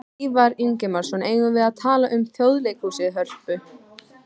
Ívar Ingimarsson: Eigum við að tala um Þjóðleikhúsið, Hörpu?